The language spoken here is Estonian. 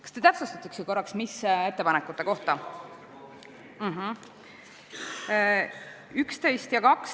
Kas te täpsustaksite korraks, mis ettepanekute kohta te küsisite?